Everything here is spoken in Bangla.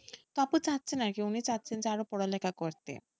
আপু চাচ্ছেন আরকি উনি চাচ্ছেন যে আরো পড়ালেখা করতে।